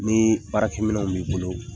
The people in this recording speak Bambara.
Ni baarakɛ minɛw bɛ yen